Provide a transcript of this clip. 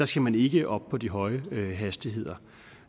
skal man ikke op på de høje hastigheder